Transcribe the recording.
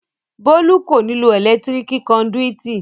Bólú kò ní lo ẹ̀lẹ́tíríkì kọndùìtì